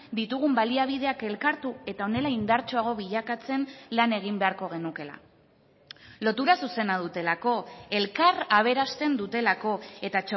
ditugun baliabideak elkartu eta honela indartsuago bilakatzen lan egin beharko genukeela lotura zuzena dutelako elkar aberasten dutelako eta